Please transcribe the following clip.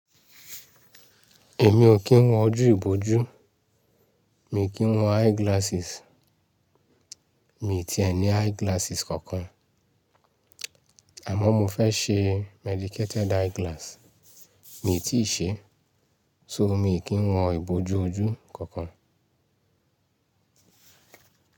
Èmi ò kí ń wọ ojú ìbòjú, mi ò kí ń wọ eyeglasses, mi ò tì ẹ ní eyeglasses kankan. Àmọ́ mo fẹ́ ṣe medicated eyeglass, mi ò tíì ṣe, so mi ò kí ń wọ ìbòjú ojú kankan.